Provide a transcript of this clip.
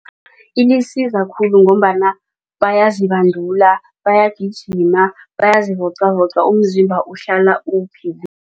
Ilisiza khulu ngombana bayazibandula bayagijima bayazivocavoca umzimba uhlala